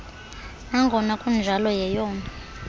nangona kunjalo yeyona